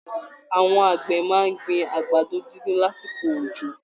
Àwọn àgbẹ̀ máa ń gbin àgbàdo dídùn lásìkò òjò